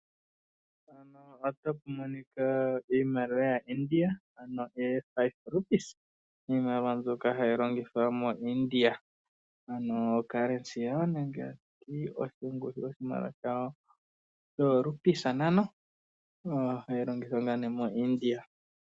Mpaka otapu monika iimaliwa ya India, ano o5 Rupees , iimaliwa mbyoka hayi longithwa mo India ano occurency yawo ngaashi oshimaliwa shawo shoo rupees ntano, hayi longithwa ngaa nee mo India